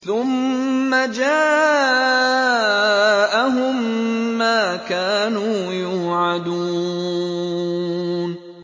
ثُمَّ جَاءَهُم مَّا كَانُوا يُوعَدُونَ